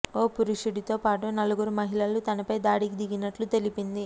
ఓ పురుషుడితో పాటు నలుగురు మహిళలు తనపై దాడికి దిగినట్లు తెలిపింది